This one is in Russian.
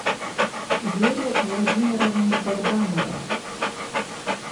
вере владимировне богдановой